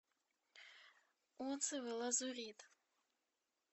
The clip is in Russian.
отзывы лазурит